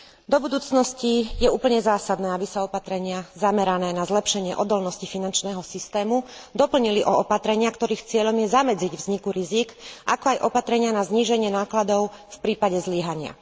Do budúcnosti je úplne zásadné, aby sa opatrenia zamerané na zlepšenie odolnosti finančného systému doplnili o opatrenia, ktorých cieľom je zamedziť vzniku rizík, ako aj opatrenia na zníženie nákladov v prípade zlyhania.